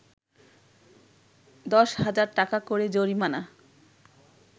১০ হাজার টাকা করে জরিমানা